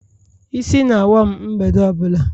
Isi na-awa m mgbede ọ bụla.